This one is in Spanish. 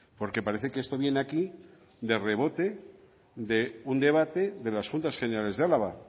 porque parece que esto viene aquí de rebote de un debate de las juntas generales de álava